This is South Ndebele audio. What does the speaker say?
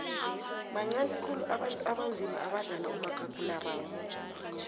bancani khulu abantu abanzima abadlala umakhakhulararhwe